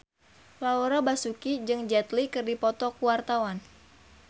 Laura Basuki jeung Jet Li keur dipoto ku wartawan